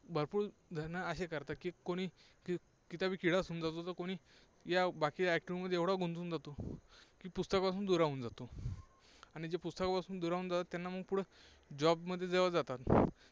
भरपूर जणं असे करतात की कुणी किताबी किडा समजावं, कुणी या बाकीच्या activity मध्ये एवढा गुंतून जातो की पुस्तकापासून दुरावून जातो. आणि जे पुस्तकापासून दुरावून जातात त्यांना मग पुढं job मध्ये जेव्हा जातात